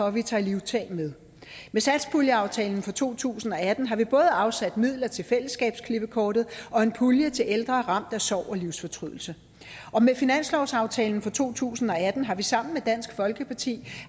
at vi tager livtag med med satspuljeaftalen for to tusind og atten har vi både afsat midler til fællesskabsklippekortet og en pulje til ældre ramt af sorg og livsfortrydelse og med finanslovsaftalen for to tusind og atten har vi sammen med dansk folkeparti